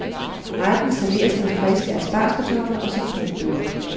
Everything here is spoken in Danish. Retten serveres med friske aspargeskartofler og citronbåde.